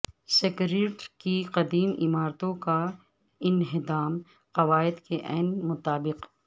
secretariat کی قدیم عمارتوں کا انہدام قواعد کے عین مطابق